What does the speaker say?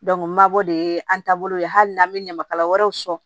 n mabɔ de ye an taabolo ye hali n'an bɛ ɲamakala wɛrɛw sɔrɔ